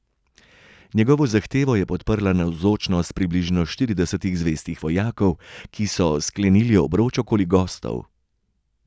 Njegovo zahtevo je podprla navzočnost približno štiridesetih zvestih vojakov, ki so sklenili obroč okoli gostov.